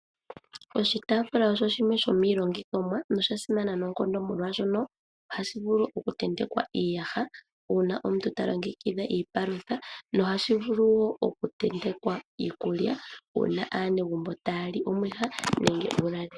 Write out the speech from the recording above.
Oshitaafula osho shimwe shomiilongithomwa noshasimana noonkondo molwaashoka ohashi vulu okutentekwa iiyaha uuna omuntu talongekidha iipalutha , nohashi vulu wo okutetenkwa iikulya uuna aanegumbo taya li omwiha nenge uulalelo.